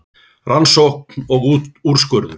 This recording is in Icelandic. Rannsókn og úrskurður